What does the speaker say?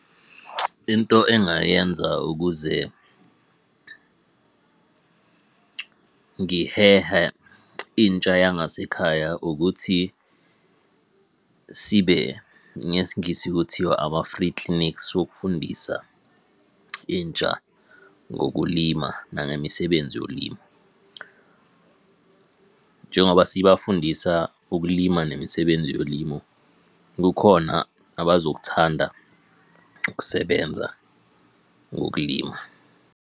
Into engayenza ukuze ngihehe intsha yangasekhaya ukuthi, sibe ngesiNgisi kuthiwa ama-free clinics wokufundisa intsha ngokulima nangemisebenzi yolimo. Njengoba sibafundisa ukulima nemisebenzi yolimo, kukhona abazokuthanda ukusebenza ngokulima.